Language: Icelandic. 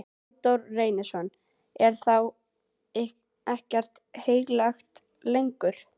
Halldór Reynisson: Er þá ekkert heilagt lengur?